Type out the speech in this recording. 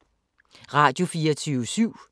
Radio24syv